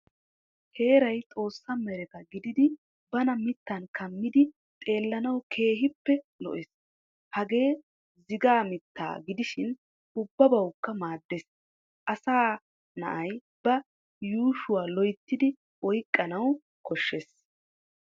Heeraay xoossaa meretta gididi bana miittaan kammidi xeellanawu keehippee lo"ees. Hagee zigaa miittaa gidishin ubbabawukka maaddees. Asa na"ay ba yushuwaa loyttidi oyqqanawu koshshees.